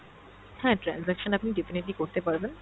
হ্যাঁ transaction আপনি definitely করতে পারবেন